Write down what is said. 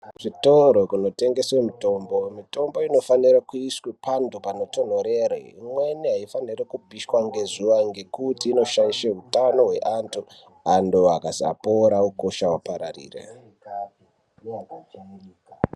Kuzvitoro zvinotengeswa mitombo, mitombo inofana kuiswa pantu panotonhorera. Imwene haifaniri kupishwa ngezuwa ngekuti inoshaisha hutano hwevantu vantu vakasapora ukosha upararire.